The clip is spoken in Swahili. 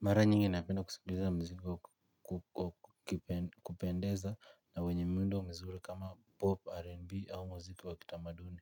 Mara nyingi napenda kusikiliza mziki wakupendeza na wenye muundo mzuri kama pop rnb au mziki wakitamaduni.